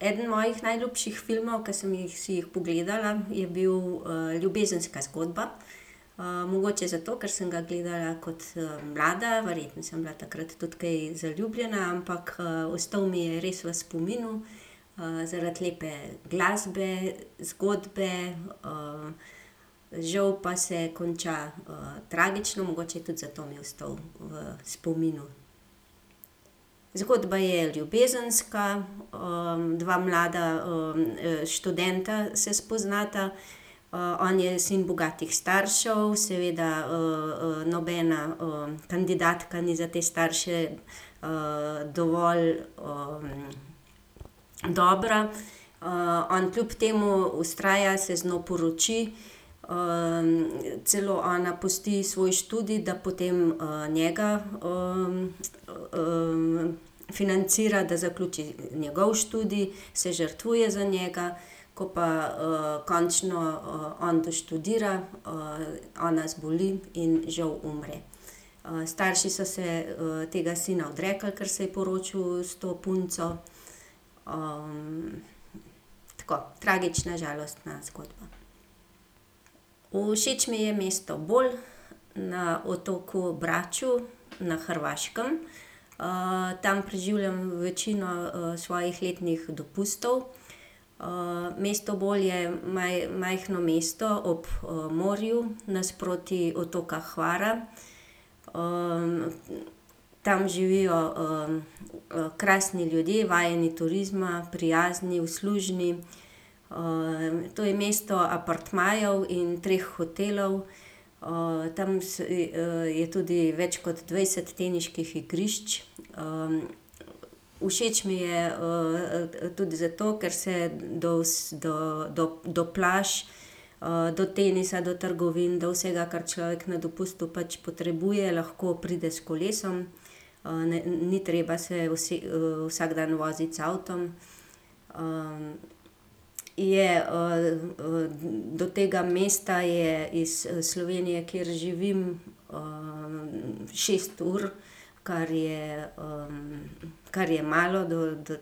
Eden mojih najljubših filmov, ki sem jih si pogledala, je bil, Ljubezenska zgodba. mogoče zato, ker sem ga gledala kot, mlada, verjetno sem bila takrat tudi kaj zaljubljena, ampak, ostal mi je res v spominu, zaradi lepe glasbe, zgodbe, žal pa se konča, tragično, mogoče je tudi zato mi ostal v spominu. Zgodba je ljubezenska, dva mlada, študenta se spoznata. on je sin bogatih staršev, seveda, nobena, kandidatka ni za te starše, dovolj, dobra. on kljub temu vztraja, se z njo poroči, celo ona pusti svoj študij, da potem, njega financira, da zaključi njegov študij, se žrtvuje za njega. Ko pa, končno, on doštudira, ona zboli in žal umre. straši so se, tega sina odrekli, ker se je poročil s to punco. tako, tragična, žalostna zgodba. Všeč mi je mesto Bol na otoku Braču na Hrvaškem. tam preživljam večino, svojih letnih dopustov. mesto Bol je majhno mesto ob, morju nasproti otoka Hvara. tam živijo, krasni ljudje, vajeni turizma, prijazni, uslužni. to je mesto apartmajev in treh hotelov. tam je tudi več kot dvajset teniških igrišč. všeč mi je, tudi zato, ker se do do, do, do plaž, do tenisa, do trgovine, do vsega, kar človek na dopustu pač potrebuje, lahko pride s kolesom. ni treba se vsak dan voziti z avtom. je, do tega mesta je iz Slovenije, kjer živim, šest ur, kar je, kar je malo do, do ...